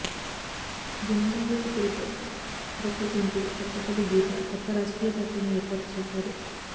జనజాగృతి పేరుతో అరకు ఎంపీ కొత్తపల్లి గీత కొత్త రాజకీయ పార్టీని ఏర్పాటు చేశారు